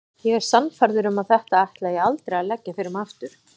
Ég er sannfærður um að þetta ætla ég aldrei að leggja fyrir mig aftur.